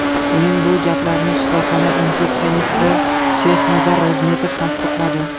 Uning bu gaplarini shifoxona infeksionisti Sheyxnazar Ro‘zmetov tasdiqladi.